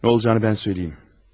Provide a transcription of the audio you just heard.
Nə olacağını mən söyləyim.